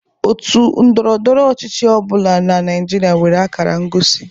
Òtù ndọrọ ndọrọ ọchịchị ọ bụla na Naịjirịa nwere akara ngosi.